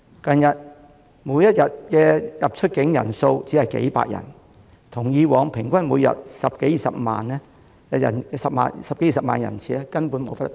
近日，每天出入境人數只有數百人，與以往平均每天十多二十萬人次根本無法相比。